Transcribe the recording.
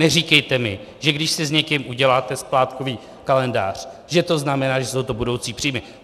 Neříkejte mi, že když si s někým uděláte splátkový kalendář, že to znamená, že jsou to budoucí příjmy.